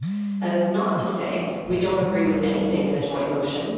That is not to say that we do not agree with anything in the joint motion.